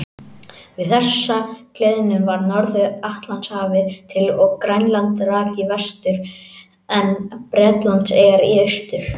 Við þessa gliðnun varð Norður-Atlantshafið til og Grænland rak í vestur en Bretlandseyjar í austur.